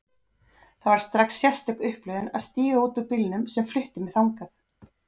Það var strax sérstök upplifun að stíga út úr bílnum sem flutti mig þangað.